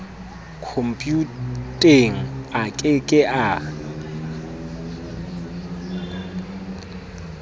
khompuyuteng a ke ke a